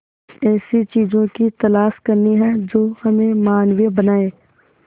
ऐसी चीजों की तलाश करनी है जो हमें मानवीय बनाएं